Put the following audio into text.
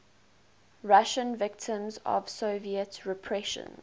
russian victims of soviet repressions